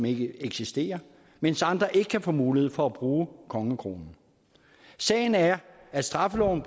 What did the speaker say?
ikke eksisterer mens andre ikke kan få mulighed for at bruge kongekronen sagen er at straffeloven